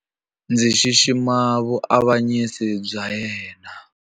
Ndzi xixima vuavanyisi bya yena.